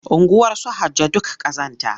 Unguwarsu Hajjo duk ƙazanta.